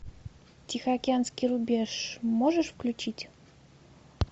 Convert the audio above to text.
тихоокеанский рубеж можешь включить